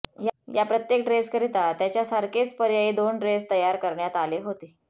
या प्रत्येक ड्रेसकरिता त्याच्यासारखेच पर्यायी दोन ड्रेस तयार करण्यात आले होते